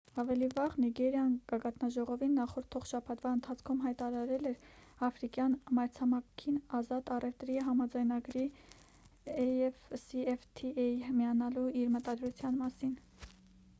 ավելի վաղ նիգերիան գագաթնաժողովին նախորդող շաբաթվա ընթացքում հայտարարել էր աֆրիկյան մայրցամաքային ազատ առևտրի համաձայնագրին afcfta միանալու իր մտադրության մասին: